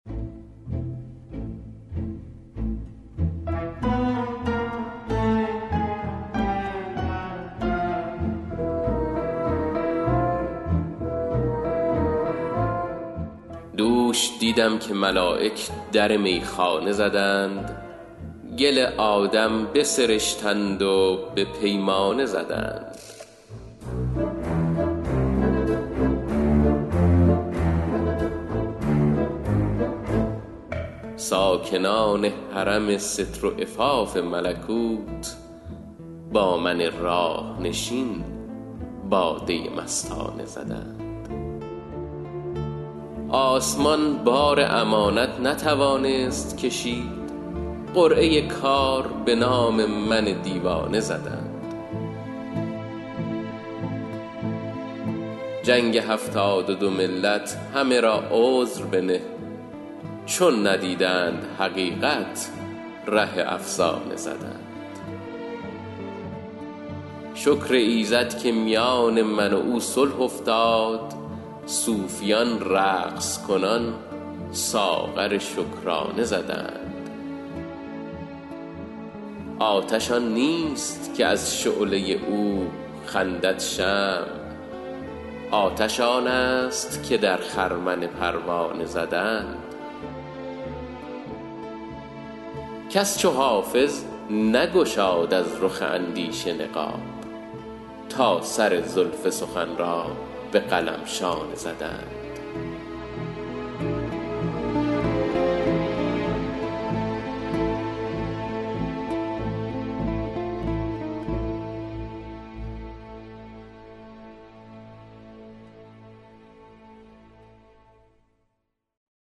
دوش دیدم که ملایک در میخانه زدند گل آدم بسرشتند و به پیمانه زدند ساکنان حرم ستر و عفاف ملکوت با من راه نشین باده مستانه زدند آسمان بار امانت نتوانست کشید قرعه کار به نام من دیوانه زدند جنگ هفتاد و دو ملت همه را عذر بنه چون ندیدند حقیقت ره افسانه زدند شکر ایزد که میان من و او صلح افتاد صوفیان رقص کنان ساغر شکرانه زدند آتش آن نیست که از شعله او خندد شمع آتش آن است که در خرمن پروانه زدند کس چو حافظ نگشاد از رخ اندیشه نقاب تا سر زلف سخن را به قلم شانه زدند